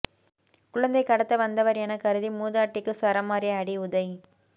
குழந்தை கடத்த வந்தவர் என கருதி மூதாட்டிக்கு சரமாரி அடி உதை